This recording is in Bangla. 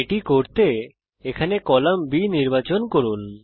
এটা করার জন্যে এখানে কলাম B নির্বাচন করুন